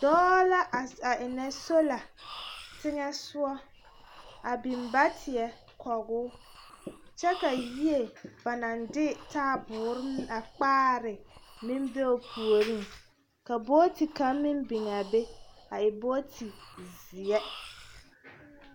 Dɔɔ la a ennɛ sola teŋɛ soga a biŋ bateɛ kɔge o kyɛ ka yie ba naŋ de taabore a kpaare ne meŋ be o puoriŋ ka booti kaŋ meŋ biŋ a be a e booti zeɛ.